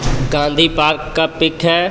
Gandhi park का है.